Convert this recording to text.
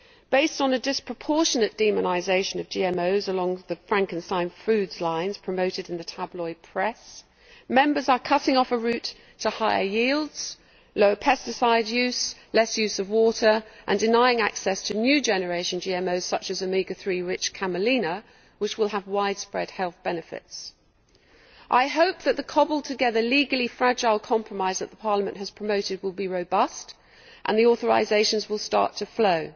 Based on a disproportionate demonisation of GMOs along the Frankenstein foods' lines promoted in the tabloid press, Members are cutting off a route to higher yields, lower pesticide use and less use of water, and denying access to new generation GMOs, such as Omega 3 rich camelina, which will have widespread health benefits. I hope that the cobbled together, legally fragile compromise that Parliament has promoted will be robust and that the authorisations will start to flow.